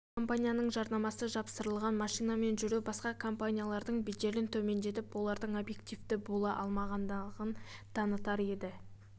бір компанияның жарнамасы жапсырылған машинамен жүру басқа компаниялардың беделін төмендетіп олардың объективті бола алмағандығын танытар еді